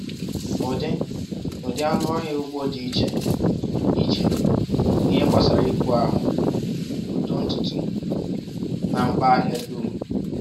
“Ụdị “Ụdị anụ ọhịa ugbo dị iche iche n’ihe gbasara ibu ahụ, uto ntutu, na mkpa ahịa dum.